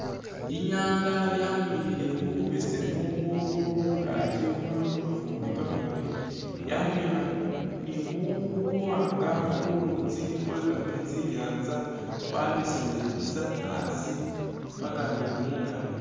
Inyanga yamulikhile bubesemu khugulu khungaki khulikho kamafumbi kamamaali yamulikha ni buwaanga khulutsi khwe kameetsi inyanza khwabesemele busa a'asi paka ni mungaki